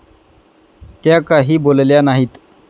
त्या काही बोलल्या नाहीत.